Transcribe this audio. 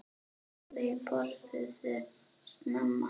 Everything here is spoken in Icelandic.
Þau borðuðu snemma.